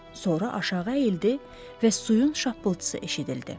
Sonra aşağı əyildi və suyun şappıltısı eşidildi.